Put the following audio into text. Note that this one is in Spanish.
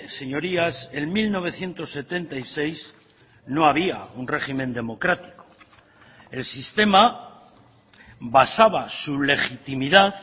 señorías en mil novecientos setenta y seis no había un régimen democrático el sistema basaba su legitimidad